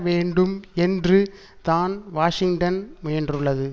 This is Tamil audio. வேண்டும் என்று தான் வாஷிங்டன் முயன்றுள்ளது